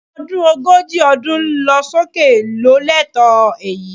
Ọmọ ọdún ogójì ọdún lọ sókè ló lẹ́tọ̀ọ́ èyí